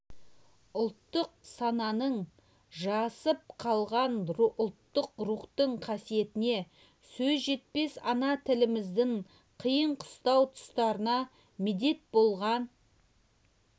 ұлттық сананың жасып қалған ұлттық рухтың қасиетіне сөз жетпес ана тіліміздің қиын-қыстау тұстарда медет болған